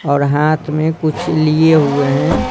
और हाथ में कुछ लिए हुए हैं।